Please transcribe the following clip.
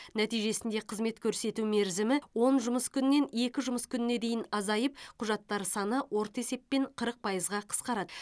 нәтижесінде қызмет көрсету мерзімі он жұмыс күнінен екі жұмыс күніне дейін азайып құжаттар саны орта есеппен қырық пайызға қысқарады